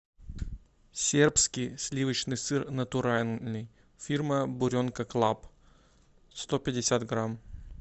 сербский сливочный сыр натуральный фирма буренка клаб сто пятьдесят грамм